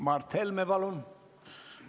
Mart Helme, palun!